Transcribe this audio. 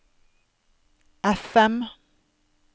FM